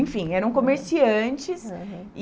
Enfim, eram comerciantes. Aham.